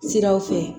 Siraw fɛ